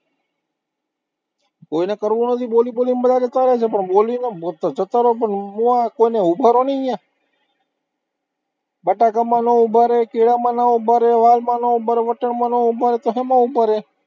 કોઈને કરવું નથી, બોલી બોલી ને બધા ને જતા રેહવું છે, પણ બોલીને જતા રહો, પણ કોઈનું અહીંયા ઉભા રહો ને અહીંયા બટાકામાં ના ઉભા રે, કેળામાં ન ઉભા રે, વાલમા ન ઉભા રે, વટાણામાં ન ઉભા રે, તો શેમાં ઉભા રે?